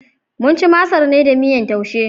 Mun ci masar ne da miyar Taushe.